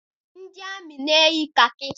Ndị amị na-eyi kakị